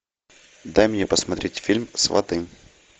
дай мне посмотреть фильм сваты